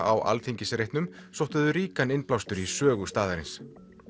á Alþingisreitnum sóttu þau ríkan innblástur í sögu staðarins